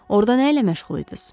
Orda nə ilə məşğul idiz?